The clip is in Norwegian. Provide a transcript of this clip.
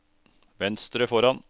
venstre foran